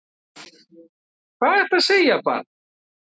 Hvað ertu að segja barn?